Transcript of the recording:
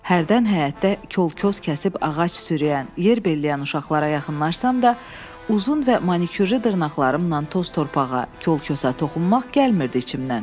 Hərdən həyətdə kol-kos kəsib ağac sürüyən, yer belləyən uşaqlara yaxınlaşsam da, uzun və manikürlü dırnaqlarımla toz-torpağa, kol-kosa toxunmaq gəlmirdi içimdən.